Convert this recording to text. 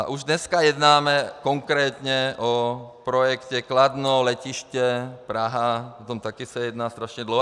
A už dneska jednáme konkrétně o projektu Kladno, letiště Praha, o tom taky se jedná strašně dlouho.